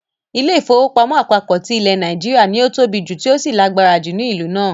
Ilé-ìfowópamọ́ àpapọ ti ilẹ̀ Nàìjíríà ” ni ó tóbi tí ó sì lágbára ju ni ìlú náà.